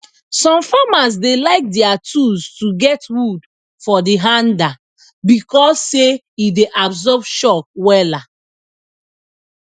some farmers dey like dier tools to get wood for de hander becos say e dey absorb shock wela